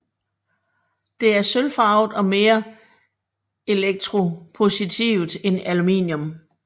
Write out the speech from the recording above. Det er sølvfarvet og mere elektropositivt end aluminium